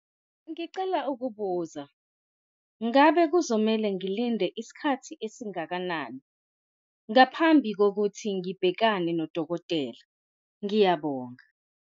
Ngicela ukubuza ngabe kuzomele ngilinde isikhathi esingakanani ngaphambi kokuthi ngibhekane nodokotela? Ngiyabonga.